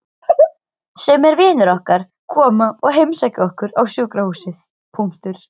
Sumir vinir okkar koma og heimsækja okkur á sjúkrahúsið.